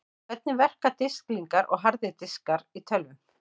Hvernig verka disklingar og harðir diskar í tölvum?